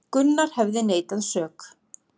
Gunnar hefði neitað sök